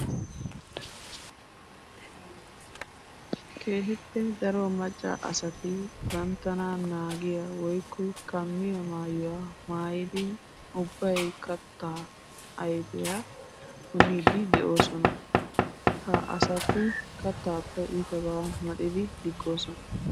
Keehippe daro macca asati banttana naagiya woykko kammiya maayuwa maayiddi ubbay katta ayfiya punniiddi de'osona. Ha asati kattappe iittabba maxxiddi diggiisona.